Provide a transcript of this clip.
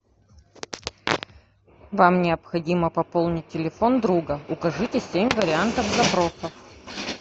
вам необходимо пополнить телефон друга укажите семь вариантов запросов